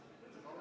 Rene Kokk.